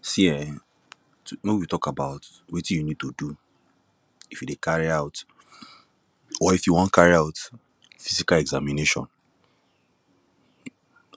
see um wen we talk about wetin you need to do if you dey carry out or if you won carry out physical examination